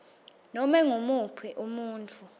nobe ngumuphi umuntfu